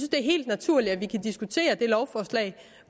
er helt naturligt at vi kan diskutere det lovforslag